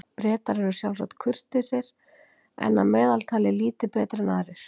Bretar eru sjálfsagt kurteisir en að meðaltali lítið betri en aðrir.